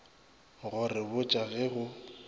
go re botša ge go